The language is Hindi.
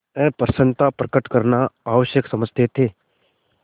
अप्रसन्नता प्रकट करना आवश्यक समझते थे